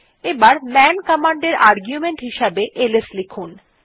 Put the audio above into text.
এবার man command এ argument হিসাবে এলএস লিখতে হবে